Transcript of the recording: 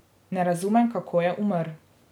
Ne razumem, kako je umrl.